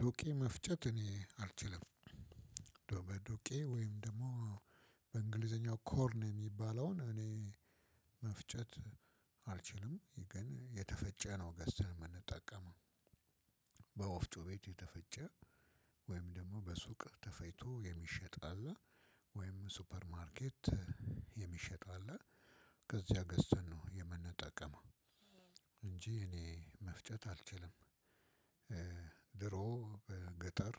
ዱቄ መፍጨት እኔ አልችልም። በመዶቄ ወይም ደግሞ በእንግሊዘኛው ኮርን የሚባለውን እኔ መፍጨት አልችልም። ግን የተፈጨ ነው ገስተን የምንጠቀመው። በወፍጮ ቤት የተፈጨ ወይም ደግሞ በሱቅ ተፈጭቶ የሚሸጥ አለ ወይም ሱፐር ማርኬት የሚሸጥ አለ። ከዚያ ገዝተን ነው የምንጠቀመው እንጂ እኔ መፍጨት አልችልም። ድሮ ገጠር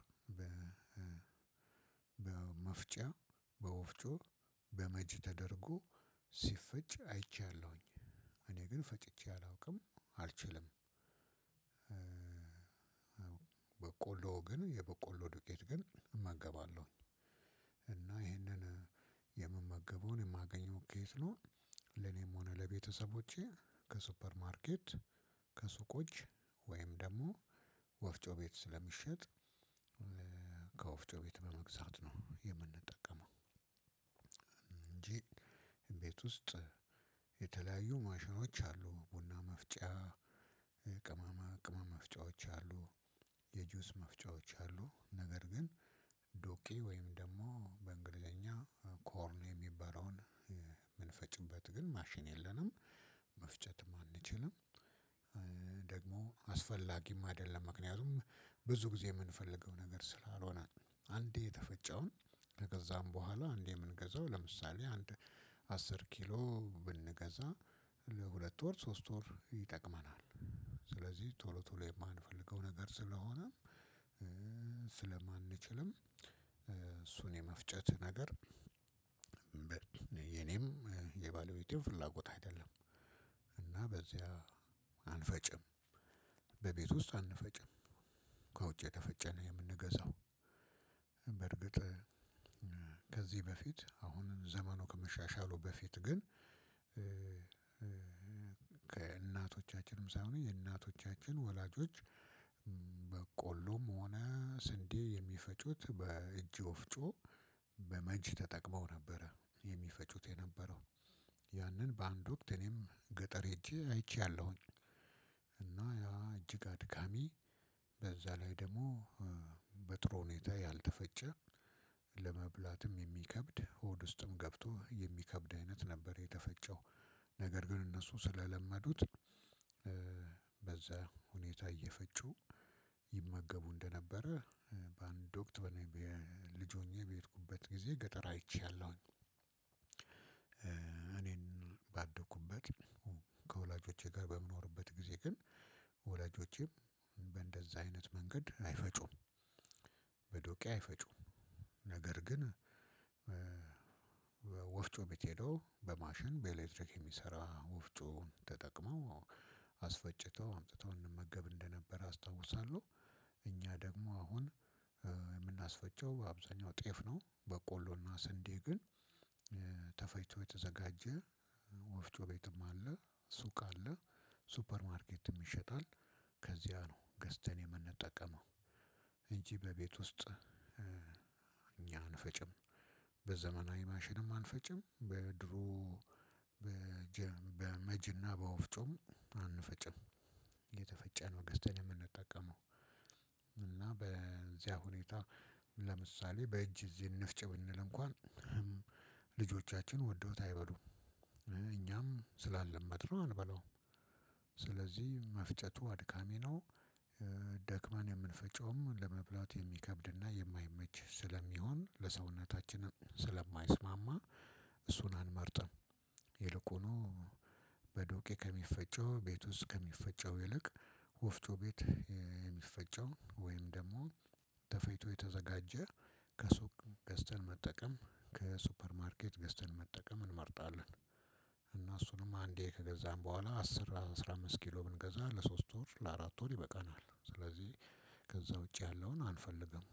በመፍጫ በወፍጮ በመጅ ተደርጎ ሲፈጭ አይቻለሁኝ። እኔ ግን ፈጭቼ አላውቅም አልችልም። በቆሎ ግን የበቆሎ ዱቄት ግን እመገባለሁኝ። እና ይሄንን የምመገበውን የማገኘው ከየት ነው? ለኔም ሆነ ለቤተሰቦቼ ከሱፐር ማርኬት፣ ከሱቆች ወይም ደግሞ ወፍጮ ቤት ስለሚሸጥ። ከወፍጮ ቤት በመግዛት ነው የምንጠቀመው። እንጂ ቤት ውስጥ የተለያዩ ማሽኖች አሉ ቡና መፍጫ ቅመማ ቅመም መፍጫዎች አሉ። የጁስ መፍጫዎች አሉ ነገር ግን ዶቄ ወይም ደግሞ በእንግሊዘኛ ኮርን የሚባለውን የምንፈጭበት ግን ማሽን የለንም። መፍጨትም አንችልም። ደግሞ አስፈላጊም አይደለም። ምክንያቱም ብዙ ጊዜ የምንፈልገው ነገር ስላልሆነ። አንዴ የተፈጨውን ከገዛን በኋላ አንዴ የምንገዛው ለምሳሌ አንድ አስር ኪሎ ብንገዛ ለሁለት ወር ሶስት ወር ይጠቅመናል። ስለዚህ ቶሎ ቶሎ የማንፈልገው ነገር ስለሆነ። ስለማንችልም እሱን የመፍጨት ነገር የኔም የባለቤቴም ፍላጎት አይደለም። እና በዚያ አንፈጭም። በቤት ውስጥ አንፈጭም። ከውጭ የተፈጨ ነው የምንገዛው። በርግጥ ከዚህ በፊት አሁን ዘመኑ ከመሻሻሉ በፊት ግን ከእናቶቻችንም ሳይሆን የእናቶቻችን ወላጆች። በቆሎም ሆነ ስንዴ የሚፈጩት በእጅ ወፍጮ በመጅ ተጠቅመው ነበረ የሚፈጩት የነበረው ያንን በአንድ ወቅት እኔም ገጠር ሄጄ አይቼአለሁኝ። እና እጅግ አድካሚ በዛ ላይ ደግሞ በጥሩ ሁኔታ ያልተፈጨ ለመብላትም የሚከብድ ሆድ ውስጥም ገብቶ የሚከብድ አይነት ነበር። የተፈጨው ነገር ግን እነሱ ስለለመዱት። በዛ ሁኔታ እየፈጩ ይመገቡ እንደነበረ በአንድ ወቅት በኔ ልጅ ሆኜ በሄድኩበት ጊዜ ገጠር አይቼአለሁኝ። እኔም ባደኩበት ከወላጆቼ ጋር በምኖርበት ጊዜ ግን ወላጆቼም በእንደዛ አይነት መንገድ አይፈጩም። በዶቄ አይፈጩም። ነገር ግን ወፍጮ ቤት ሄደው በማሽን በኤሌክትሪክ የሚሰራ ወፍጮ ተጠቅመው አስፈጭተው አምጥተው እንመገብ እንደነበር አስታውሳለሁ። እኛ ደግሞ አሁን የምናስፈጨው አብዛኛው ጤፍ ነው። በቆሎና ስንዴ ግን ተፈጭቶ የተዘጋጀ ወፍጮ ቤትም አለ ሱቅ አለ ሱፐር ማርኬትም ይሸጣል። ከዚያ ነው ገዝተን የምንጠቀመው። እንጂ በቤት ውስጥ እኛ አንፈጭም። በዘመናዊ ማሽንም አንፈጭም በድሮ በመጅና በወፍጮም አንፈጭም። የተፈጨ ነው ገዝተን የምንጠቀመው። እና በዚያ ሁኔታ ለምሳሌ በእጅ እዚህ እንፍጭ ብንል እንኳን ልጆቻችን ወደውት አይበሉም። እኛም ስላልለመድነው አንበላውም። ስለዚህ መፍጨቱ አድካሚ ነው። ደክመን የምንፈጨውም ለመብላት የሚከብድና የማይመች ስለሚሆን ለሰውነታችንም ስለማይስማማ እሱን አንመርጥም። ይልቁኑ በዶቄ ከሚፈጨው ቤት ውስጥ ከሚፈጨው ይልቅ ወፍጮ ቤት የሚፈጨው ወይም ደግሞ ተፈጭቶ የተዘጋጀ ከሱቅ ገዝተን መጠቀም፣ ከሱፐር ማርኬት ገዝተን መጠቀም እንመርጣለን። እና እሱንም አንዴ ከገዛን በኋላ አስር አስራ አምስት ኪሎ ብንገዛ ለሶስት ወር ለአራት ወር ይበቃናል። ስለዚህ ከዛ ውጪ ያለውን አንፈልግም።